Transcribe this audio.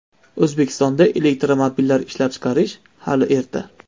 O‘zbekistonda elektromobillar ishlab chiqarish hali erta.